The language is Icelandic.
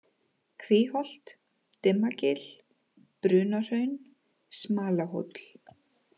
Kvíholt, Dimmagil, Brunahraun, Smalahóll